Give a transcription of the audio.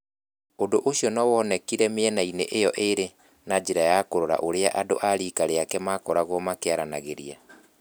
Ũndũ ũcio nĩ woonekire mĩena-inĩ ĩyo ĩĩrĩ na njĩra ya kũrora ũrĩa andũ a riika rĩake makoragwo makĩaranagĩria.